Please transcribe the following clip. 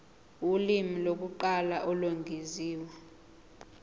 ulimi lokuqala olwengeziwe